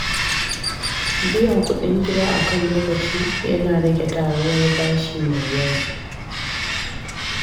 Biyan kuɗin gida akan lokaci yana rage taruwar bashi mai yawa.